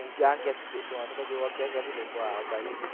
ધોની ને જોવા ક્યા ક્યા થી લોકો આયા હતા